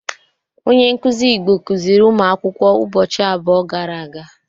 Onye nkuzi Igbo kuziri ụmụakwụkwọ ụbọchị abụọ gara aga.